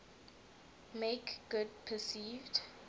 make good perceived